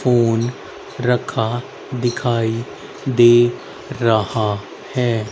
Phone रखा दिखाई दे रहा है।